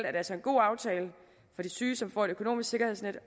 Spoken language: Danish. altså en god aftale for de syge som får et økonomisk sikkerhedsnet